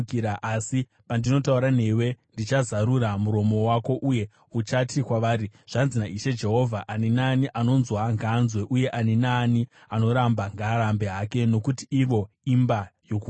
Asi pandinotaura newe, ndichazarura muromo wako uye uchati kwavari, ‘Zvanzi naIshe Jehovha.’ Ani naani anonzwa ngaanzwe, uye ani naani anoramba ngaarambe hake; nokuti ivo imba yokumukira.